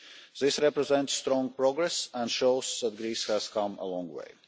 This represents strong progress and shows that Greece has come a long way.